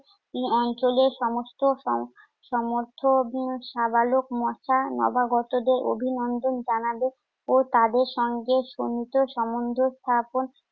এ অঞ্চলে সমস্ত সম~ সমর্থ উম সাবালক মশা নবাগতদের অভিনন্দন জানাবে ও তাদের সঙ্গে সীমিত সংযোগ স্থাপন